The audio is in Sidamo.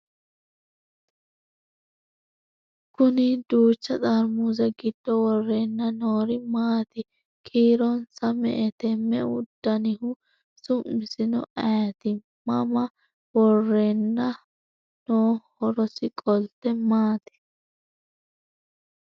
Kunni duuchcha xarimuse giddo woreenna noori maatti ? Kiironsa me'ette ? Me'eu danniho ? Su'missinno ayiitti ? Mama woreenna nooho? Horosi qolitte maati?